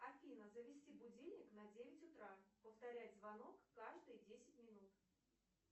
афина завести будильник на девять утра повторять звонок каждые десять минут